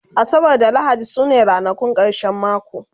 asabar da lahadi sune ranakun karshen mako